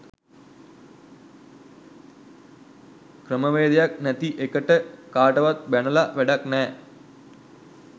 ක්‍රමවේධයක් නැති එකට කාටවත් බැනල වැඩක් නෑ.